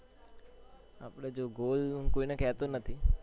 આપણે જો goal હું કોઈને કેતો નથી.